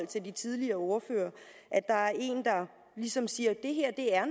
til de tidligere ordførere at der er en der ligesom siger at det her